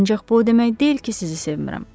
Ancaq bu o demək deyil ki, sizi sevmirəm.